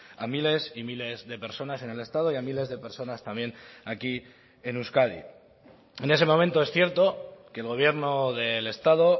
a miles y miles de personas en el estado y a miles de personas también aquí en euskadi en ese momento es cierto que el gobierno del estado